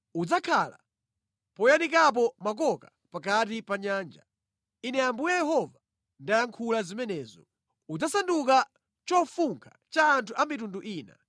Udzakhala poyanikapo makoka pakati pa nyanja. Ine Ambuye Yehova ndayankhula zimenezo. Udzasanduka chofunkha cha anthu a mitundu ina.